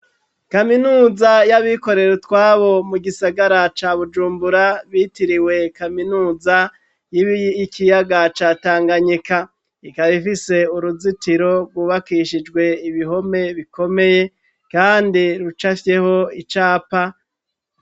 Kaminuza y'abikorere utwabo mu gisagara ca bujumbura bitiriwe kaminuza yibi ikiyaga ca tanganyika ikarifise uruzitiro rwubakishijwe ibihome bikomeye, kandi ruca afyeho icapa.